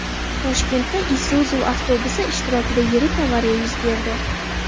Toshkentda Isuzu avtobusi ishtirokida yirik avariya yuz berdi .